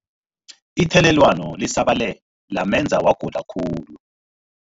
Ithelelwano lisabalele lamenza wagula khulu.